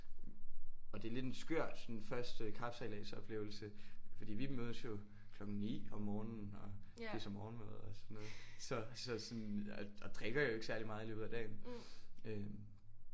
Og det er lidt en skør sådan første kapsejladsoplevelse fordi vi mødes jo klokken 9 om morgenen og spiser morgenmad og sådan noget så så sådan og drikker jo ikke særlig meget i løbet af dagen